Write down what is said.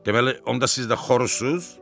Deməli, onda siz də xoruzsuz?